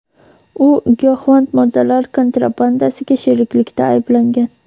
u giyohvand moddalar kontrabandasiga sheriklikda aylangan.